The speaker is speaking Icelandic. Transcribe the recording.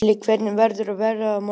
Gillý, hvernig verður veðrið á morgun?